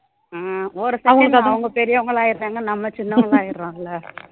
அஹ் ஒரு second ல அவங்க பெரியவங்களா ஆயிறாங்க நம்ம சின்னவங்களும் ஆயிடுறோம்ல